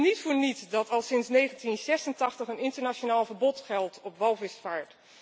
Het is niet voor niets dat al sinds 1986 een internationaal verbod geldt op walvisvaart.